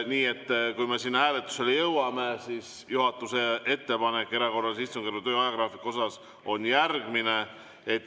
Nii et kui me siin hääletuseni jõuame, siis juhatuse ettepanek erakorralise istungjärgu töö ajagraafiku kohta on järgmine.